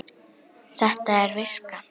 Þetta er viska!